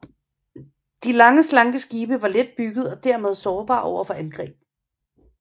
De lange slanke skibe var let byggede og dermed sårbare over for angreb